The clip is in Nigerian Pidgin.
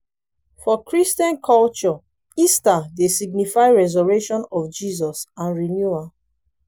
for christian culture easter dey signify resurrection of jesus and renewal